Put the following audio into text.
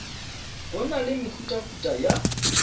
go na le mehutahuta ya